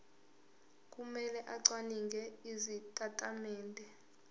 kumele acwaninge izitatimende